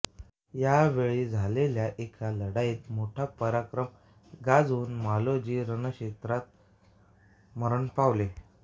या वेळी झालेल्या एका लढाईत मोठा पराक्रम गाजवून मालोजी रणक्षेत्रावर मरण पावले